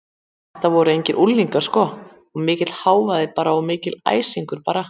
Þetta voru engir unglingar sko og mikill hávaði bara og mikill æsingur bara.